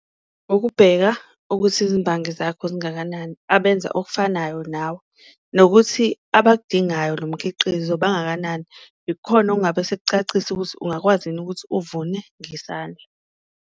Ngokubheka ukuthi izimbangi zakho zingakanani abenza okufanayo nawe, nokuthi abakudingayo lo mkhiqizo bangakanani, ikhona okungabe sikucacisa ukuthi ungakwazi yini ukuthi uvune ngesandla.